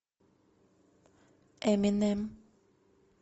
эминем